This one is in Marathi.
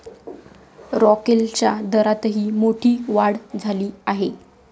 रॉकेलच्या दरातही मोठी वाढ झाली आहे.